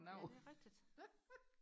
ja det er rigtigt